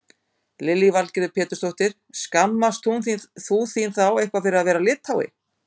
Lillý Valgerður Pétursdóttir: Skammast þú þín þá eitthvað fyrir að vera Lithái?